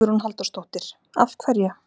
Hugrún Halldórsdóttir: Af hverju?